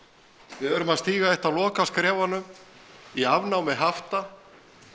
við erum að stíga eitt af lokaskrefunum í afnámi hafta